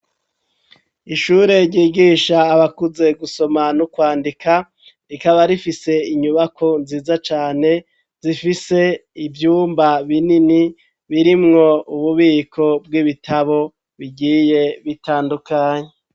Ishure ryigisha abakuze gusoma no kwandika rikaba rifise inyubako nziza cane zifise ivyumba binini birimwo ububiko bw'ibitabo bigiye bitandukanye.